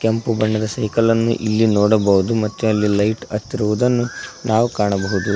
ಕೆಂಪು ಬಣ್ಣದ ಸೈಕಲ್ ಅನ್ನು ಇಲ್ಲಿ ನೋಡಬಹುದು ಮತ್ತು ಅಲ್ಲಿ ಲೈಟ್ ಹತ್ತಿರುವುದನ್ನು ನಾವು ಕಾಣಬಹುದು.